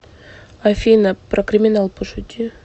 афина про криминал пошути